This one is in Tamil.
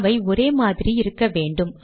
அவை ஒரே மாதிரி இருக்க வேண்டும்